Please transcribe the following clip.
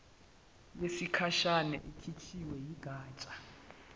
yesikhashana ekhishwe yigatsha